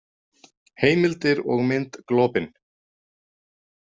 Heimildir og mynd Globin.